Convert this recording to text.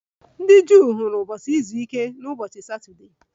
Ndị Juu hụrụ ụbọchị izu ike n'ụbọchị Satọdee